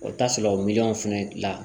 O t'a sɔrɔ miliyɔn fɛnɛ la